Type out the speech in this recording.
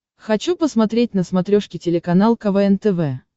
хочу посмотреть на смотрешке телеканал квн тв